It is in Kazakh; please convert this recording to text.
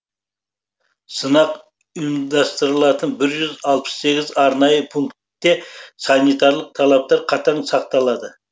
сынақ ұйымдастырылатын бір жүз алпыс сегіз арнайы пунктте санитарлық талаптар қатаң сақталады